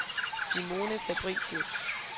Simone Fabricius